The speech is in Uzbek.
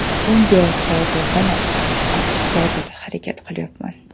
Bunga hozirdanoq astoydil harakat qilyapman.